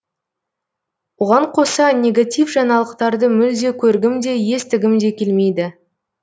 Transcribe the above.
оған қоса негатив жаңалықтарды мүлде көргім де естігім де келмейді